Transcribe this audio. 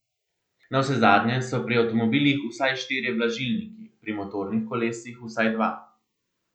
Navsezadnje so pri avtomobilih vsaj štirje blažilniki, pri motornih kolesih vsaj dva.